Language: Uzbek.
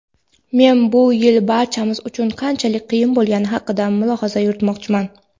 men bu yil barchamiz uchun qanchalik qiyin bo‘lgani haqida mulohaza yuritmoqchiman.